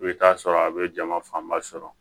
I bɛ taa sɔrɔ a bɛ jama fanba sɔrɔ